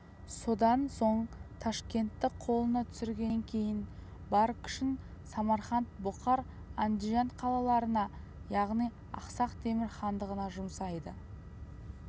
содан соң ташкентті қолына түсіргеннен кейін бар күшін самарқант бұқар андижан қалаларына яғни ақсақ темір хандығына жұмсайды